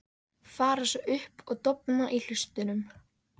Fara svo upp og dofna í hlustunum.